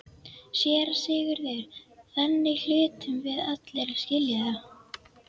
SÉRA SIGURÐUR: Þannig hlutum við allir að skilja það.